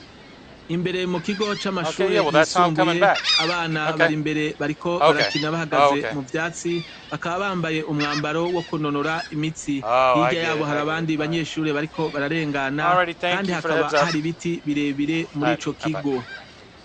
Imbere mukigo c'amashure yisumbuye abana barimbere bariko barakina bahagaze muvyatsi. Bakaba bambaye umwambaro wokunonora imitsi. Hirya yabo har'abandi banyeshure bariko bararengana kandi hakaba har'ibiti birebire mur'icokigo.